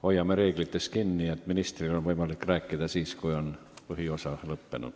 Hoiame kinni reeglist, et ministril on võimalik rääkida siis, kui läbirääkimiste põhiosa on seljataga.